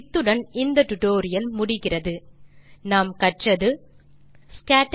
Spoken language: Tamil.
இத்துடன் இந்த டுடோரியல் முடிகிறது இந்த டியூட்டோரியல் இல் நாம் கற்றது